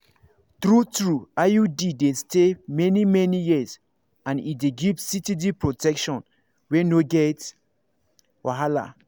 true-true iud dey stay many-many years and e dey give steady protection wey no get wahala.